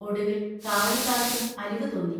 ഒടുവിൽ കാവൽക്കാർക്കും അലിവു തോന്നി.